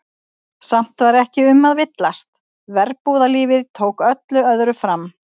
Samt var ekki um að villast, verbúðalífið tók öllu öðru fram.